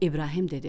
İbrahim dedi: